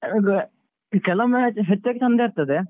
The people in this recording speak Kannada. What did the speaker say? ಅದು ಕೆಲೊವೊಮ್ಮೆ ಹೆಚ್ಚಾಗಿ ಚಂದ ಇರ್ತದೆ.